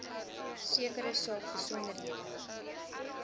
sekere saak besonderhede